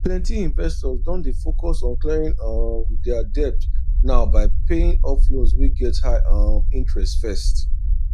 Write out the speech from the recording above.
plenty investors don dey focus on clearing um their debt now by paying off loans wey get high um interest first